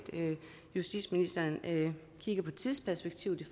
justitsministeren kigger på tidsperspektivet i